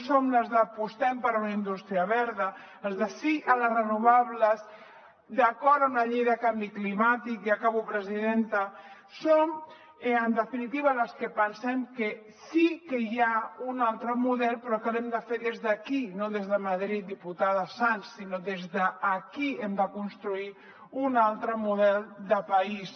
som les d’ apostem per una indústria verda els de sí a les renovables d’acord amb la llei de canvi climàtic i acabo presidenta som en definitiva les que pensem que sí que hi ha un altre model però que l’hem de fer des d’aquí i no des de madrid diputada sans sinó que des d’aquí hem de construir un altre model de país